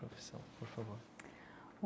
Por favor.